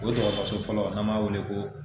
O dɔgɔtɔrɔso fɔlɔ an m'a wele ko